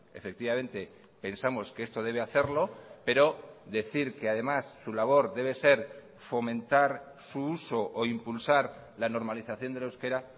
efectivamente pensamos que esto debe hacerlo pero decir que además su labor debe ser fomentar su uso o impulsar la normalización del euskera